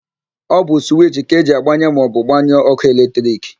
Ọ bụ suwichi ka eji agbanye maọbụ gbanyụọ ókụ́ eletrik.